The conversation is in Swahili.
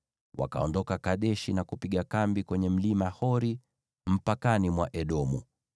Wakaondoka Kadeshi na kupiga kambi kwenye Mlima Hori, mpakani mwa Edomu.